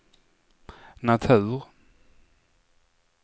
natur